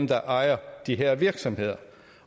der ejer de har virksomheder